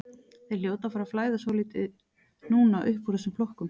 Þeir hljóta að fara að flæða svolítið núna uppúr þessum flokkum.